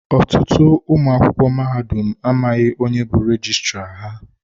Ọtụtụ ụmụ akwụkwọ mahadum amaghị onye bu rejistra ha.